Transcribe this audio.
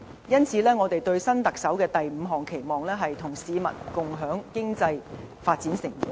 因此，我們對新特首的第五項期望，是"與市民共享經濟發展成果"。